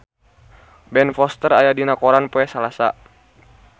Ben Foster aya dina koran poe Salasa